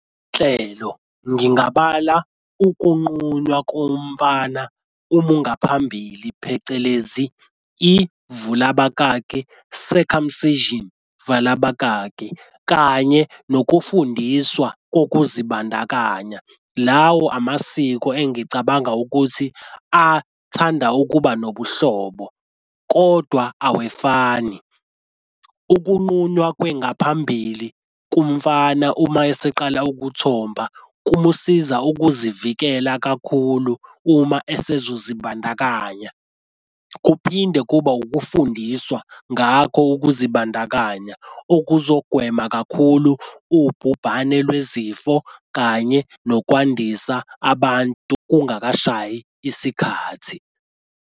Hlelo ngingabala ukuguqunywa komfana uma ungaphambili phecelezi ivula abakaki circumcision vala abakaki kanye nokufundiswa kokuzibandakanya. Lawo amasiko engicabanga ukuthi athanda ukuba nobuhlobo, kodwa awefani. Ukuqunywa kwengaphambili kumfana uma eseqala ukuthomba kumusiza ukuzivikela kakhulu uma esezozibandakanya. Kuphinde kuba ukufundiswa ngakho ukuzibandakanya okuzogwema kakhulu ubhubhane lwezifo kanye nokwandisa abantu kungakashayi isikhathi.